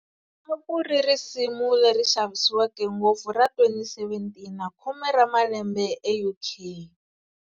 A ku ri risimu leri xavisiweke ngopfu ra 2017 na khume ra malembe eUK.